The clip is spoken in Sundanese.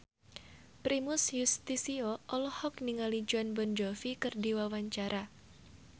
Primus Yustisio olohok ningali Jon Bon Jovi keur diwawancara